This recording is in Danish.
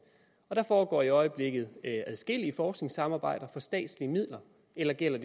der foregår i øjeblikket adskillige forskningssamarbejder for statslige midler eller gælder